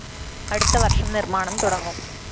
അടുത്ത വര്‍ഷം നിര്‍മ്മാണം തുടങ്ങും